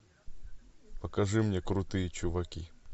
покажи мне крутые чуваки